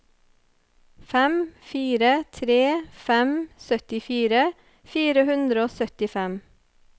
fem fire tre fem syttifire fire hundre og syttifem